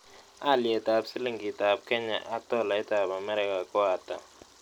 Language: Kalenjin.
Alyetap silingiitap kenya ak tolaitap amerika ko ata